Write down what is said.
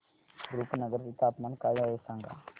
रुपनगर चे तापमान काय आहे सांगा